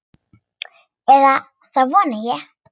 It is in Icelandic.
Eða það vona ég,